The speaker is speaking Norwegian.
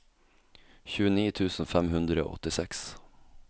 tjueni tusen fem hundre og åttiseks